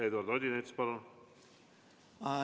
Eduard Odinets, palun!